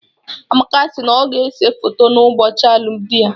Amaka si na ọ ga-ese foto n'ụbọchị alụmdi ya.